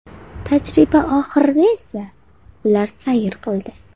Tajriba oxirida esa ular sayr qildi.